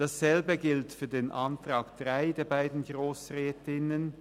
Dasselbe gilt für die Planungserklärung 3 der beiden Grossrätinnen.